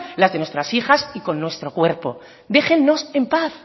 las de nuestras hijas y con nuestro cuerpo déjennos en paz